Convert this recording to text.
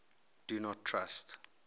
do not trust